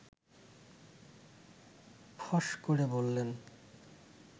ফস করে বললেন